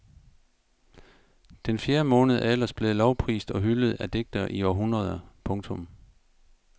Den fjerde måned er ellers blevet lovprist og hyldet af digtere i århundreder. punktum